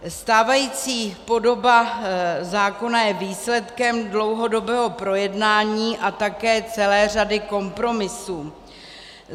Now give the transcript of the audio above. Stávající podoba zákona je výsledkem dlouhodobého projednání a také celé řady kompromisů.